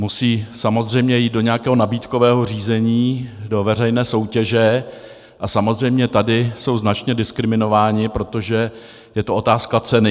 Musí samozřejmě jít do nějakého nabídkového řízení, do veřejné soutěže, a samozřejmě tady jsou značně diskriminovány, protože je to otázka ceny.